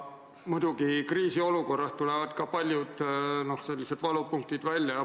Muidugi tulevad kriisiolukorras ka paljud valupunktid välja.